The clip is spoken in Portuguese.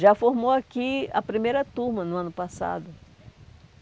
Já formou aqui a primeira turma no ano passado.